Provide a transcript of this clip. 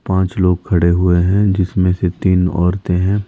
पांच लोग खड़े हुए हैं जिसमें से तीन औरतें हैं।